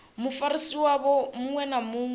mufarisi wavho muṅwe na muṅwe